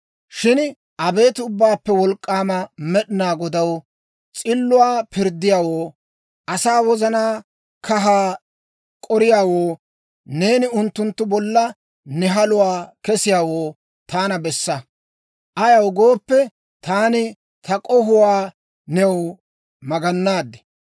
Shin abeet Ubbaappe Wolk'k'aama Med'inaa Godaw, s'illuwaa pirddiyaawoo, asaa wozanaa kahaa k'oriyaawoo, neeni unttunttu bolla ne haluwaa kesiyaawaa taana bessa. Ayaw gooppe, taani ta k'ohuwaa new maganaad.